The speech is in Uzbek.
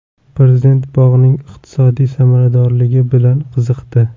Prezident bog‘ning iqtisodiy samaradorligi bilan qiziqdi.